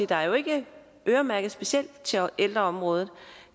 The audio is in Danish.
der jo ikke er øremærket specielt til ældreområdet